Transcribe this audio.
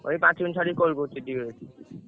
ଏଇ ପାଞ୍ଚ ମିନିଟ ଛାଡି call କରୁଛି ଟିକେ।